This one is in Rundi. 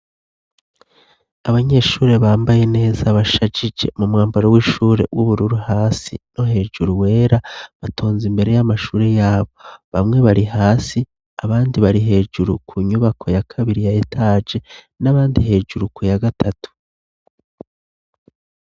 Abanyeshure bambaye neza bashajije mu mwambaro w'ishure w'ubururu hasi no hejuru wera batonze imbere y'amashure yabo, bamwe bari hasi abandi bari hejuru ku nyubako ya kabiri ya etaje n'abandi hejuru ku ya gatatu.